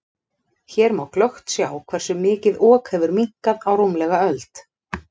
Hér má glöggt sjá hversu mikið Ok hefur minnkað á rúmlega öld.